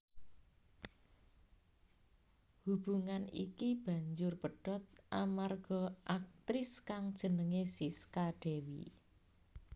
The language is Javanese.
Hubungan iki banjur pedhot amarga aktris kang jenengé Sisca Dewi